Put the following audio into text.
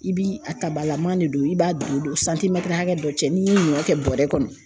I bi a tabalaman de don i b'a don don hakɛ dɔ cɛ, n'i i ɲɔ kɛ bɔrɛ kɔnɔ.